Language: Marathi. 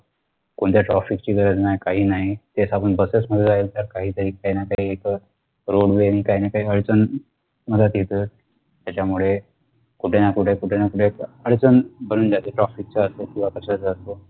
कोणत्या traffic ची गरज नाय काही नाही तेच आपण Buses मध्ये राहिलं तर काहीतरी काहीनाकाही एक अह roadway नि काहीनाकाही अडचण मध्यात येत त्याच्यामुळे कुठेनाकुठे कुठेनाकुठे अडचण बनून जाते traffic चा असतो किंवा कशाचा असतो